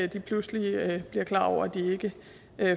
de pludselig bliver klar over at de ikke